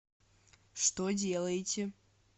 что делаете